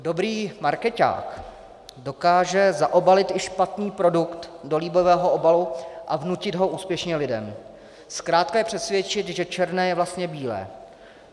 Dobrý markeťák dokáže zaobalit i špatný produkt do líbivého obalu a vnutit ho úspěšně lidem, zkrátka je přesvědčit, že černé je vlastně bílé.